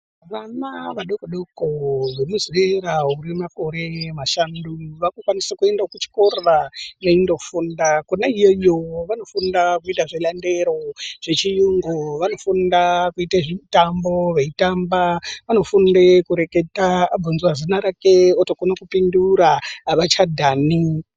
Vana vadoko doko ve muzera re makore mashantu vaku kwanise kuenda ku chikora veindo funda kona iyoyo vanofunda kuita zve mandero zve chiyungu vanofunda kuite zvi mitambo vei tamba anofunde eyi reketa azozwe zina rake oto kone kupindura avacha dhani.